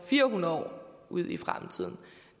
fire hundrede år ud i fremtiden